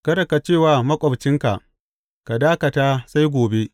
Kada ka ce wa maƙwabcinka Ka yă dakata sai gobe,